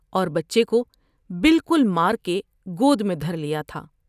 اور بچے کو بالکل مار کے گود میں دھر لیا تھا ۔